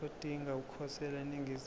odinga ukukhosela eningizimu